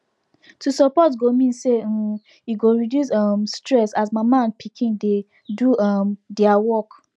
to support go mean say um e go reduce um stress as mama and papa dey do um their work